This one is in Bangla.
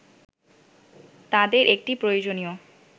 তাঁদের একটি প্রয়োজনীয়